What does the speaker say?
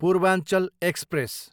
Purvanchal express